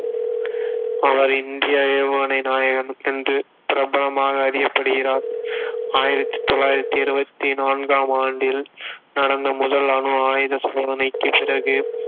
அவர் இந்திய ஏவுகணை நாயகன் என்று பிரபலமாக அறியப்படுகிறார் ஆயிரத்தி தொள்ளாயிரத்தி எழுவத்தி நான்காம் ஆண்டில் நடந்த முதல் அணு ஆயுத சோனதைக்கு பிறகு